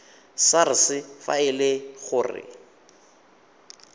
sars fa e le gore